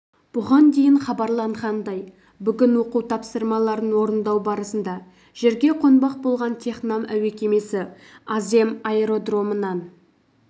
бұған дейін хабарланғандай бүгін оқу тапсырмаларын орындау барысында жерге қонбақ болған технам әуе кемесі азем аэродромынан